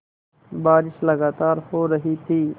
बारिश लगातार हो रही थी